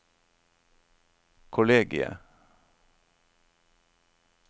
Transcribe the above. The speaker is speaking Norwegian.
kollegiet